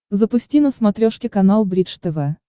запусти на смотрешке канал бридж тв